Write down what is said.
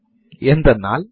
ഇനി ആരാണ് root user